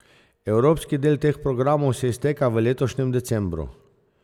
Evropski del teh programov se izteka v letošnjem decembru.